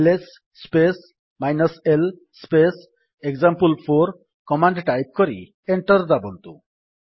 LS space l space example four command type କରି enter ଦାବନ୍ତୁ